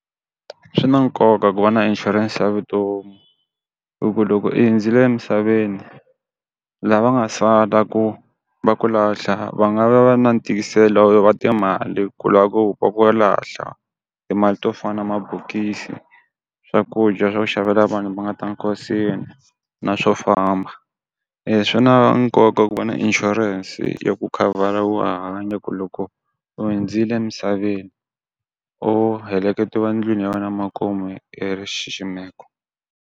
Swi na nkoka ku va na insurance ya vutomi i ku loko i hindzile emisaveni, lava nga sala ku va ku lahla va nga va va ri na wa timali ku lava va ku va lahla, timali to fana mabokisi swakudya swa ku xavela vanhu va ta nkosini na swo famba. swi na nkoka ku va na insurance ya ku khavhara wa ha hanya ya ku loko u hindzile emisaveni u heleketiwa ndlwini ya wena makumu i ri xiximeko.